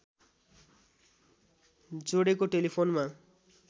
जोडेको टेलिफोनमा